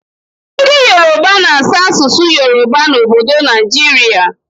Ndị yoroba na-asụ asụsụ yoroba n'obodo Naijiria.